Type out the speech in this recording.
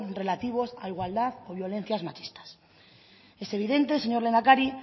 relativos a igualdad o violencias machistas es evidente señor lehendakari